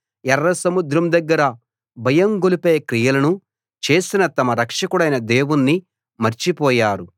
ఎర్రసముద్రం దగ్గర భయం గొలిపే క్రియలను చేసిన తమ రక్షకుడైన దేవుణ్ణి మర్చిపోయారు